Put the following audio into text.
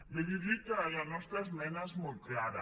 bé dir li que la nostra esmena és molt clara